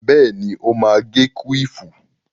Bẹ́ẹ̀ni, ó má agé kúwìfù